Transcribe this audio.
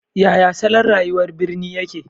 Yaya salon rayuwar birni yake?